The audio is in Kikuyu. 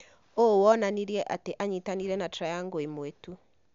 ũũ wonanirie atĩ anyitanĩire na 'triangle' ĩmwe tu